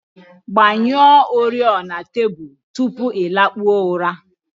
Gbanyụọ oriọna tebụl tupu ị lakpuo ụra